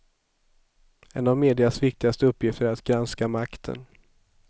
En av medias viktigaste uppgifter är att granska makten.